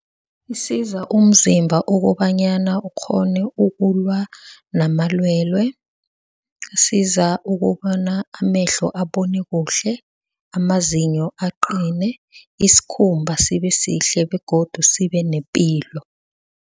Isiza umzimba ukobanyana ukghone ukulwa namalwelwe. Isiza ukobana amehlo abone kuhle, amazinyo aqine. Isikhumba sibe sihle begodu sibe nepilo.